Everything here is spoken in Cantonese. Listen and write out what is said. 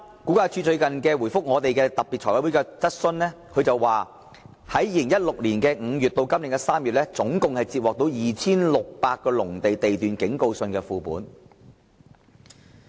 估價署在最近回覆財務委員會特別會議的提問時表示，由2016年5月至今年3月期間，估價署共接獲涉及約 2,600 個農地地段的警告信副本。